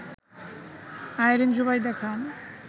Irin Zubaida Khan